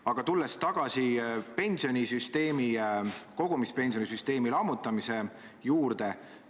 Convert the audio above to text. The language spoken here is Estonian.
Aga tulen tagasi kogumispensionisüsteemi lammutamise juurde.